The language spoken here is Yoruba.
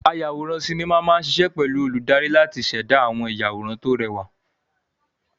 Ayàwòrán sinimá máa ṣiṣẹ́ pẹ̀lú olùdarí láti ṣẹ̀dá àwọn ìyàwòrán tó rẹwà.